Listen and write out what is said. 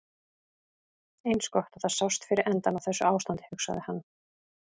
Eins gott að það sást fyrir endann á þessu ástandi, hugsaði hann.